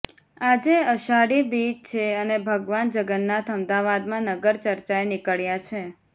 આજે અષાઢી બીજ છે અને ભગવાન જગન્નાથ અમદાવાદમાં નગર ચર્ચાએ નીકળ્યા છે